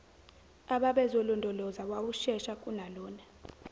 ababezolondoloza wawushesha kunalona